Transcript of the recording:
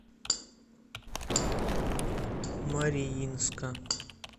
мариинска